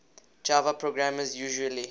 java programmers usually